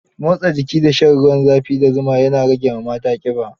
Motsa jiki da shan ruwan za fi da zuma ne ya rage mata ƙiba.